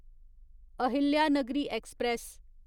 Ahilyanagari express